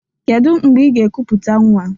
Kedụ mgbe ị ga-ekuputa nwa?